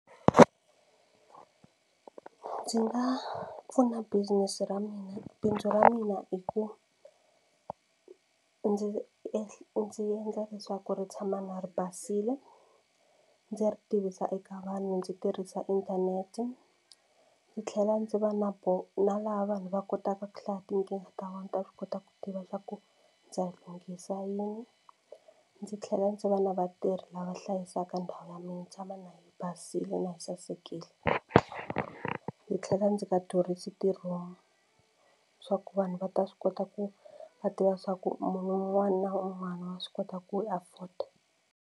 Ndzi nga pfuna business ra mina bindzu ra mina hi ku ndzi ndzi endla leswaku ri tshama na ri basile ndzi ri tivisa eka vanhu ndzi tirhisa inthanete. Ndzi tlhela ndzi va na na laha vanhu va kotaka ku hlaya tinkingha ta vona ni ta swi kota ku tiva leswaku ndzi lunghisa yini. Ndzi tlhela ndzi va na vatirhi lava hlayisaka ndhawu ya mina yi tshama na yi basile na yi sasekile. Ndzi tlhela ndzi nga durhisi ti-room swa ku vanhu va ta swi kota ku va tiva swa ku munhu un'wana na un'wana wa swi kota ku yi afford-a.